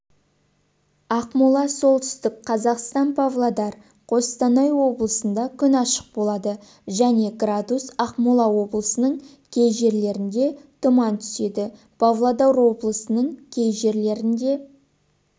ақмола солтүстік қазақстан павлодар қостанай облысында күн ашық болады және градус ақмола облыының кей жерлерінде тұман түседі павлодар облысының кей жерлерінде